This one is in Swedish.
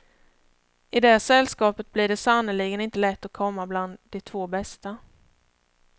I det sällskapet blir det sannerligen inte lätt att komma bland de två bästa.